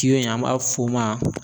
tiyo in an b'a f'o ma